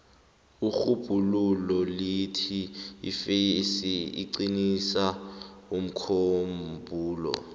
irhubhululo lithi ifesi iqinisa umkhumbulo